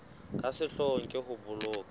ka sehloohong ke ho boloka